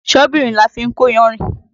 Ṣọ́bìrì la fi ń kó yanrìn.